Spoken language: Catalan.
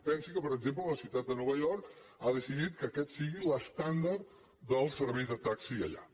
pensi que per exemple la ciutat de nova york ha decidit que aquest sigui l’estàndard del servei de taxi allà